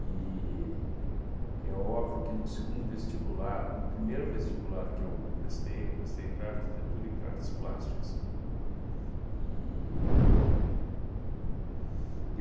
é óbvio que, no segundo vestibular, no primeiro vestibular que eu prestei, eu prestei para arquitetura e para artes plásticas. E